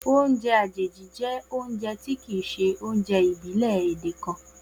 Oúnjẹ àjèjì jẹ́ oúnjẹ tí kìí ṣe oúnjẹ ìbílẹ̀ èdè kan